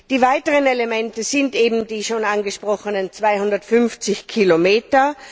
Ein weiteres Element sind eben die schon angesprochenen 250 Kilometer.